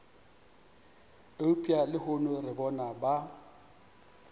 eupša lehono re bona ba